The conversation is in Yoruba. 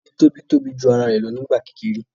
Orí tóbi tóbi jù ara rẹ lọ nígbà kékeré